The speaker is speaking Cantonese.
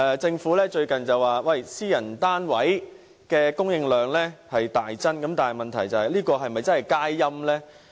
政府近日指私人單位的供應量已大增，但這是否真正佳音？